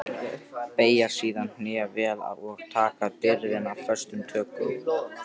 Beygja síðan hné vel og taka byrðina föstum tökum.